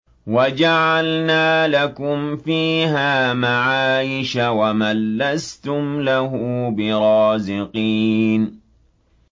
وَجَعَلْنَا لَكُمْ فِيهَا مَعَايِشَ وَمَن لَّسْتُمْ لَهُ بِرَازِقِينَ